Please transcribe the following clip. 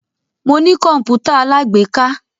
Mo ní kọ̀npútà alágbèéká.